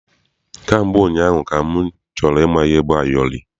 Kamgbe ụnyaahụ ka m chọrọ ịma ihe bụ ayọrị.